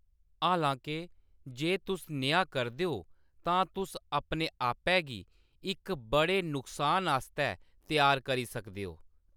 हालांके, जे तुस नेहा करदे ओ, तां तुस अपने आपै गी इक बड़े नुकसान आस्तै त्यार करी सकदे ओ।